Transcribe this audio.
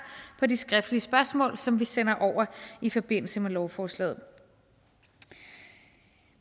på de skriftlige spørgsmål som vi sender over i forbindelse med lovforslaget